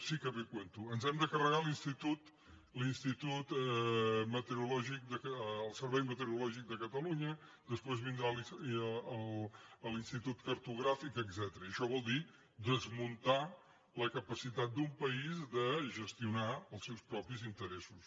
sí que ve a cuento ens hem de carregar el servei meteorològic de catalunya després vindrà l’institut cartogràfic etcètera i això vol dir desmuntar la capacitat d’un país de gestionar els seus propis interessos